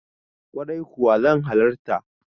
Kwarai kuwa zan halarta.